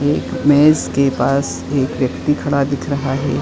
एक मेज़ के पास एक व्यक्ति खड़ा दिख रहा है।